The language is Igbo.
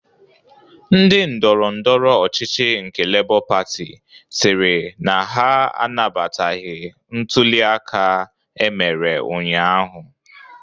Ndi ndọrọndọrọ ọchịchị nke Lebọ Patị sịrị na ha anabataghị ntụli aka emere ụnyaahụ.